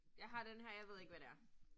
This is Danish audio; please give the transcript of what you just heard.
Jeg har denne her, jeg ved ikke hvad det er